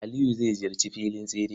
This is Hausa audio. Aliyu ya ziyarci filin tsere.